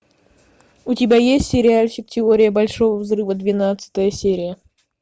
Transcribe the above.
у тебя есть сериальчик теория большого взрыва двенадцатая серия